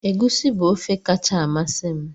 Egusi bu ofe kacha amasị m